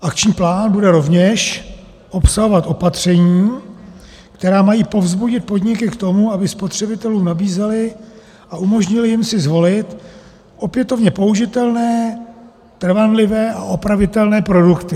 Akční plán bude rovněž obsahovat opatření, která mají povzbudit podniky k tomu, aby spotřebitelům nabízely a umožnily jim si zvolit opětovně použitelné, trvanlivé a opravitelné produkty.